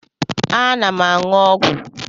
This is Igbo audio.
Ana m aṅụ ọgwụ.